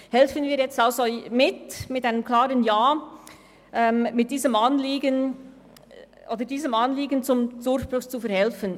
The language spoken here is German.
Helfen wir also mit einem klaren Ja mit, diesem Anliegen zum Durchbruch zu verhelfen.